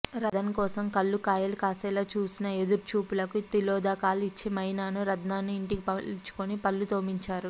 రదన్ కోసం పల్లు కాయలు కాసేలా చూసిన ఎదురు చూపులకు తిలోదకాలిచ్చి మైనాను రదన్నూ ఇంటికి పిలిపించుకుని పల్లు తోమించారు